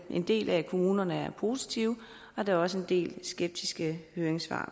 en del af kommunerne er positive og der er også en del skeptiske høringssvar